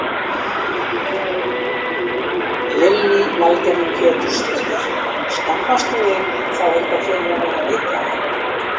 Lillý Valgerður Pétursdóttir: Skammast þú þín þá eitthvað fyrir að vera Lithái?